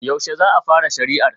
Yaushe za a fara shari'ar?